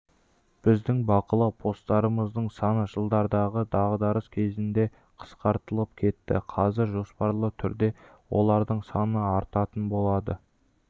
біздің бақылау постарымыздың саны жылдарғы дағдарыс кезінде қысқартылып кетті қазір жоспарлы түрде олардың саны артатын болады